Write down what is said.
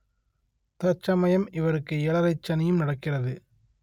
தற்சமயம் இவருக்கு ஏழரைச் சனியும் நடக்கிறது